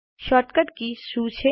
short cut keys શું છે